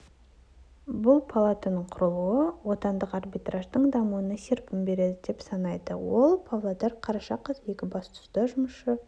бұл палатаның құрылуы отандық арбитраждың дамуына серпін береді деп санайды ол павлодар қараша қаз екібастұзда жұмысшы